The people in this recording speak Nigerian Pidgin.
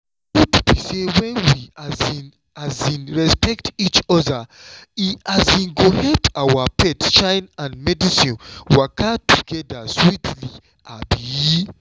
truth be say when we um um respect each other e um go help our faith shine and medicine waka together sweetly. um